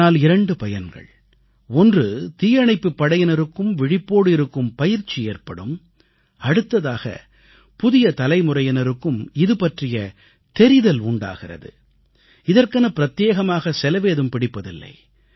இதனால் 2 பயன்கள் ஒன்று தீயணைப்புப் படையினருக்கும் விழிப்போடு இருக்கும் பயிற்சி ஏற்படும் அடுத்ததாக புதிய தலைமுறையினருக்கும் இதுபற்றிய தெரிதல் உண்டாகிறது இதற்கென பிரத்யேகமாக செலவேதும் பிடிப்பதில்லை